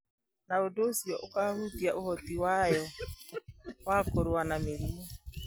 Na ũndũ ũcio ũkahutia ũhoti wayo wa kũrũa na mĩrimũ.